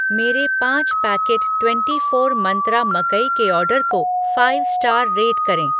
मेरे पाँच packet twenty four Mantra मकई के ऑर्डर को फ़ाइव स्टार रेट करें